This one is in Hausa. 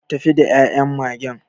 Tafi da ya'yan Magen.